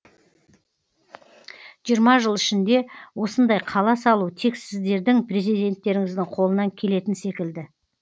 жиырма жыл ішінде осындай қала салу тек сіздердің президенттеріңіздің қолынан келетін секілді